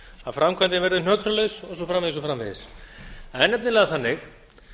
að framkvæmdin verði hnökralaus og svo framvegis og svo framvegis það er nefnilega þannig